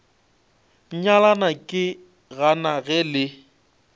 nyalana ke gana ge le